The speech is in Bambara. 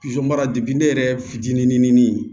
mara depi ne yɛrɛ fitinin